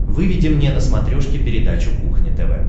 выведи мне на смотрешке передачу кухня тв